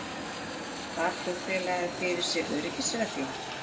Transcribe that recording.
Bar flugfélagið fyrir sig öryggisreglum